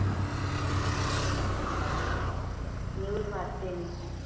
News वाचते मी